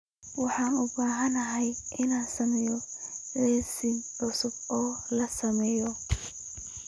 Waxaan u baahanahay inaan sameeyo liis cusub oo la sameeyo